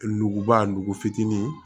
Nuguba nugu fitinin ye